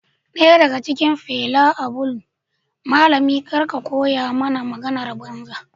Daya daga cikin Fela abulm malami kar ka koya mani maganar banza